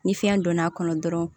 Ni fiɲɛ donn'a kɔnɔ dɔrɔn